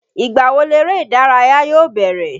Ìgbà wo leré ìdárayá yóò bẹ̀rẹ̀.